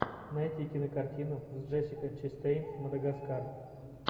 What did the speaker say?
найти кинокартину с джессикой честейн мадагаскар